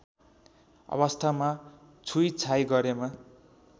अवस्थामा छुइछाइ गरेमा